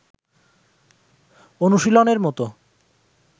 অনুশীলনের মতো